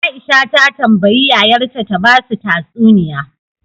Aisha ta tambayi yayar ta ta basu tatsuniya